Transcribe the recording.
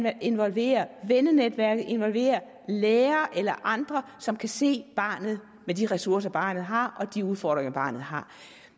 at involvere vennenetværket at involvere lærere eller andre som kan se barnet med de ressourcer barnet har og de udfordringer barnet har